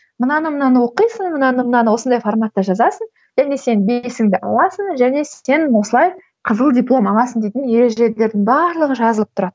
мынаны мынаны оқисың мынаны мынаны осындай форматта жазасың енді сен бесіңді аласың және сен осылай қызыл диплом аласың дейтін ережелердің барлығы жазылып тұрады